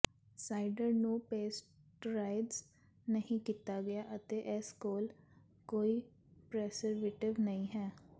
cider ਨੂੰ pasteurised ਨਹੀਂ ਕੀਤਾ ਗਿਆ ਅਤੇ ਇਸ ਕੋਲ ਕੋਈ ਪ੍ਰੈਸਰਵੀਟਿਵ ਨਹੀਂ ਹੈ